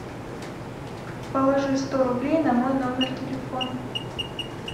положи сто рублей на мой номер телефона